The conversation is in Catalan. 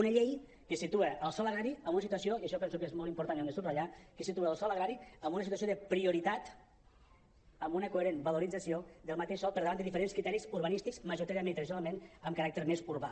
una llei que situa el sòl agrari en una situació i això penso que és molt important i ho hem de subratllar de prioritat amb una coherent valorització del mateix sòl per davant de diferents criteris urbanístics majoritàriament i tradicionalment amb caràcter més urbà